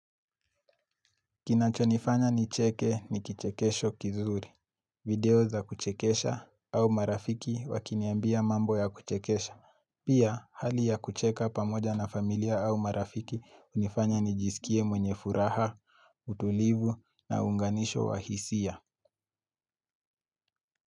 Kinachonifanya nicheke ni kichekesho kizuri. Video za kuchekesha au marafiki wakiniambia mambo ya kuchekesha. Pia, hali ya kucheka pamoja na familia au marafiki hunifanya nijisikie mwenye furaha, utulivu na unganisho wahisia.